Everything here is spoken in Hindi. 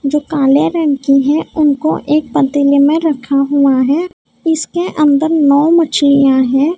जो काले रंग की है उनको एक पतेले में रखा हुआ है इसके अंदर नौ मछलियां हैं।